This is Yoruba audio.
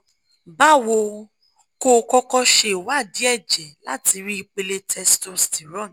bawo kó o kọ́kọ́ ṣe ìwádìí ẹ̀jẹ̀ láti rí ipéle testosterone